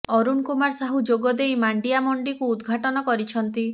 ଅରୁଣ କୁମାର ସାହୁ ଯୋଗଦେଇ ମାଣ୍ଡିଆ ମଣ୍ଡିକୁ ଉଦଘାଟନ କରିଛନ୍ତି